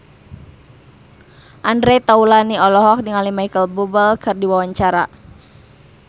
Andre Taulany olohok ningali Micheal Bubble keur diwawancara